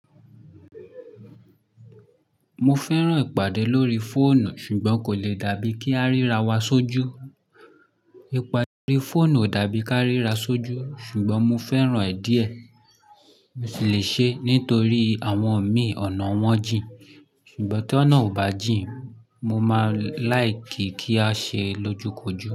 Mo fẹ́ràn ìpàdé lórí fóònù ṣùgbọ́n kò le dàbí kí a ríra wa sójú. Ìpàdé lórí fóònù ò dàbí kí a ríra sójú ṣùgbọ́n mo fẹ́ràn ẹ̀ díẹ̀. Mo sì le ṣeé nítorí àwọn mi ọ̀nà wọn jìn. Ṣùgbọ́n tí ọ̀nà ò bá jìn, mo máa láì kì í kí a ṣe é lójúkojú.